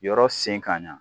Yɔrɔ sen ka ɲɛ